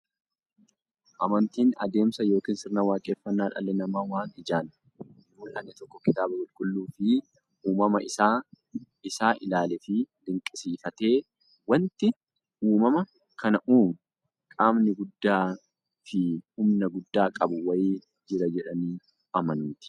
Amantiin adeemsa yookiin sirna waaqeffannaa dhalli namaa waan ijaan hinmullanne tokko kitaaba qulqulluufi uumama isaa isaa ilaaleefi dinqisiifatee, wanti uumama kana uumu qaamni guddaafi humna guddaa qabu wa'ii jira jedhanii amanuuti.